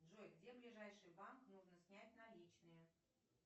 джой где ближайший банк нужно снять наличные